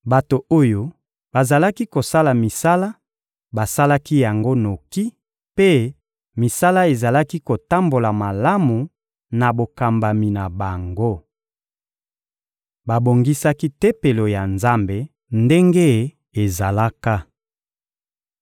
Bato oyo bazalaki kosala misala basalaki yango noki, mpe misala ezalaki kotambola malamu na bokambami na bango. Babongisaki Tempelo ya Nzambe ndenge ezalaka.